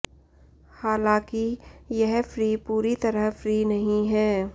हालाकिं यह फ्री पूरी तरह फ्री नहीं है